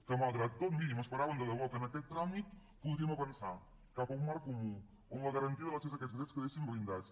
que malgrat tot miri m’esperava de debò que en aquest tràmit podríem avançar cap a un marc comú on la garantia i l’accés a aquests drets quedessin blindats